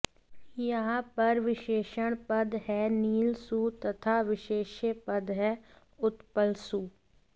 यहाँ पर विशेषण पद है नील सु तथा विशेष्य पद है उत्पल सु